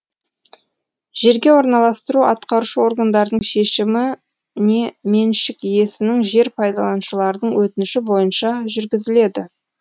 жерге орналастыру атқарушы органдардың шешімі не меншік иесінің жер пайдаланушылардың өтініші бойынша жүргізіледі